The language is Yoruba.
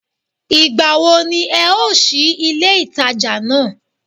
Ìgbà wo ní e ó sí ilé ìtajà náà